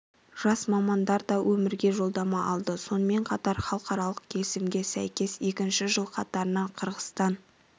жас мамандар да өмірге жолдама алды сонымен қатар халықаралық келісімге сәйкес екінші жыл қатарынан қырғызстан